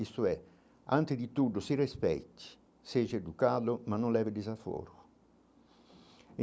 Isso é, antes de tudo, se respeite, seja educado, mas não leve desaforo.